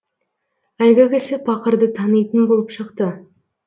әлгі кісі пақырды танитын болып шықты